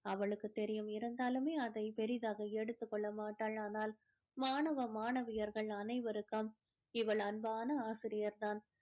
அவளுக்குத் தெரியும் இருந்தாலுமே அதை பெரிதாக எடுத்துக் கொள்ள மாட்டாள் ஆனால் மாணவ மாணவியர்கள் அனைவருக்கும் இவள் அன்பான ஆசிரியர் தான்